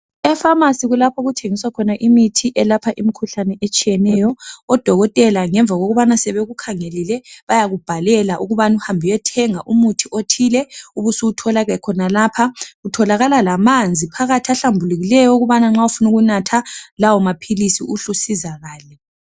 Efamasi kulapho okuthengiswa khona imithi elapha imikhuhlane etshiyeneyo. Odokotela ngemva kokubana sebekukhangelile bayakubhalela ukubana uhambe uyethenga umuthi othile ubusuwuthola ke khonalapha, kutholakala lamanzi phakathi ahlambulukileyo okubana nxa ufuna ukunatha lawo maphilisi uhle usizakale.